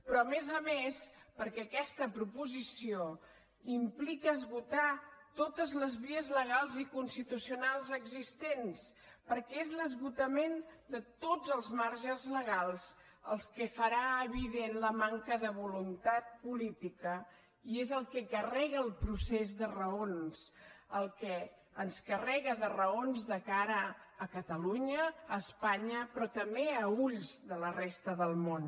però a més a més perquè aquesta proposició implica esgotar totes les vies legals i constitucionals existents perquè és l’esgotament de tots els marges legals el que farà evident la manca de voluntat política i és el que carrega el procés de raons el que ens carrega de raons de cara a catalunya a espanya però també a ulls de la resta del món